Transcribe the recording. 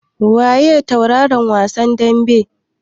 Waye tauraron wasan daɓen?